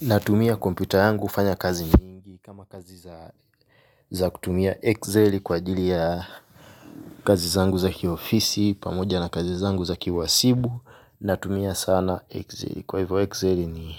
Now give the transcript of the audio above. Natumia kompyuta yangu kufanya kazi nyingi kama kazi za kutumia Excel kwa ajili ya kazi zangu za kiofisi. Pamoja na kazi zangu za ki uhasibu natumia sana Excel. Kwa hivo Excel ni